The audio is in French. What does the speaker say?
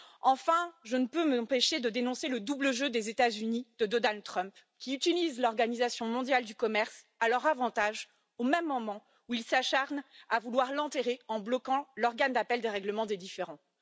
Enfin, je ne peux m'empêcher de dénoncer le double jeu des États Unis de Donald Trump, qui utilisent l'Organisation mondiale du commerce à leur avantage, au même moment où ils s'acharnent à vouloir l'enterrer en bloquant l'organe d'appel des règlements des différends.